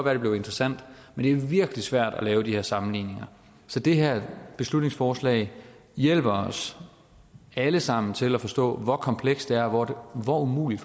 at det blev interessant men det er virkelig svært at lave de her sammenligninger så det her beslutningsforslag hjælper os alle sammen til at forstå hvor komplekst det er og hvor umuligt